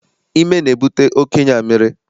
Ime na-ebute oké ịnyụ amịrị.